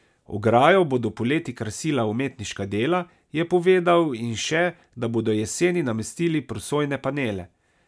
Ograjo bodo poleti krasila umetniška dela, je povedal in še, da bodo jeseni namestili prosojne panele.